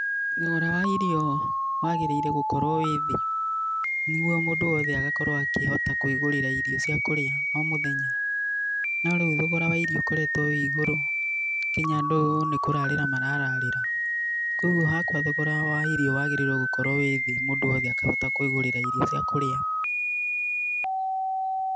Thogora wa irio wagĩrĩirwo gũkorwo wĩthĩ, nĩguo mũndũ wothe agakorwo akĩhota kwĩgũrĩra irio cia kũrĩa o mũthenya, norĩu thogora wa irio ũkoretwo wĩ igũrũ nginya andũ nĩ kũrarĩra marararĩra, kwoguo hakwa thogora wa irio wagĩrĩirwo gũkorwo wĩthĩ, mũndũ wothe akahota kwĩgũrĩra irio cia kũrĩa,